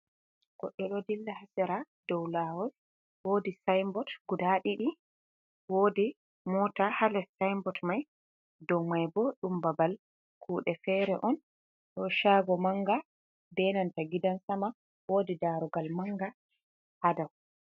Godɗo ɗo dilla ha sera dou Lawol. wodi Sayin bot iguda ɗiɗi, wodi Mota ha Les Sayin bot. dou maibo ɗum Babal kuuɗe fere'on. Nda Shago manga be nanta Gidan sama ,wodi Darugal manga ha dau.